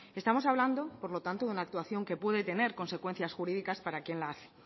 estamos hablando por lo tanto de una actuación que puede tener consecuencias jurídicas para quien la hace